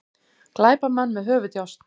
Glæpamenn með höfuðdjásn